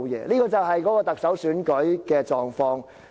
"這就是特首選舉的狀況。